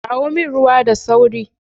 Kawo min ruwa da sauri